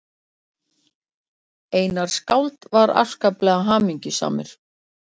Einar skáld var afskaplega hamingjusamur.